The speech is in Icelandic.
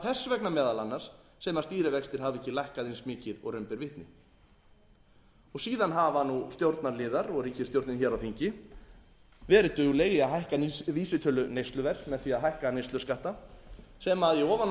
þess vegna meðal annars sem stýrivextir hafa ekki lækkað eins mikið og raun ber vitni síðan hafa stjórnarliðar og ríkisstjórnin hér á þingi verið dugleg í að hækka vísitölu neysluverðs með því að hækka neysluskatta sem í ofanálag